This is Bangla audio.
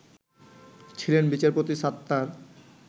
ছিলেন বিচারপতি সাত্তার